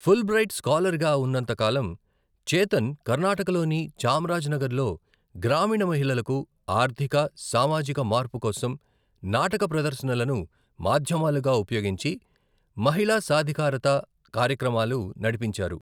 Fulbright స్కాలర్గా ఉన్నంత కాలం, చేతన్ కర్ణాటకలోని చామ్రాజ్నగర్లో గ్రామీణ మహిళలకు ఆర్థిక, సామాజిక మార్పు కోసం నాటక ప్రదర్శనలను మాధ్యమాలుగా ఉపయోగించి మహిళా సాధికారత కార్యక్రమాలు నడిపించారు.